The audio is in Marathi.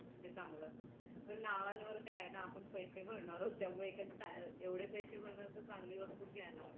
पण नावावर काय ना आपण पैसे भरणार आहोत त्यामुळे एवढे पैसे भरणार तर चांगली वस्तू घ्यायला हवी हे चांगलं असतं